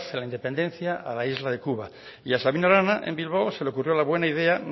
la independencia a la isla de cuba y a sabino arana en bilbao se le ocurrió la buena idea